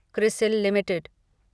CRISIL limited